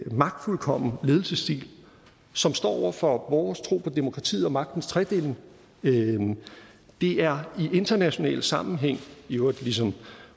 magtfuldkommen ledelsesstil som står over for vores tro på demokratiet og magtens tredeling det er i international sammenhæng i øvrigt ligesom